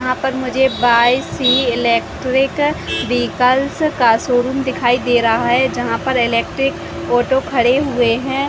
यहाँ पर मुझे बाई_सी एलेट्रिक विकल का शोरूम दिखाई दे रहा है जहां पर एलेट्रिक ऑटो खड़े हुए है ।